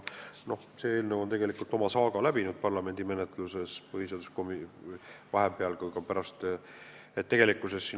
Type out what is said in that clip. See eelnõu on parlamendi menetluses tegelikult oma saaga juba läbi teinud.